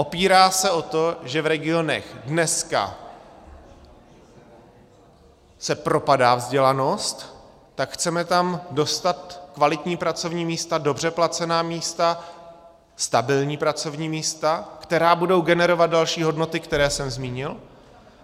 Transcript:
Opírá se o to, že v regionech dneska se propadá vzdělanost, tak chceme tam dostat kvalitní pracovní místa, dobře placená místa, stabilní pracovní místa, která budou generovat další hodnoty, které jsem zmínil.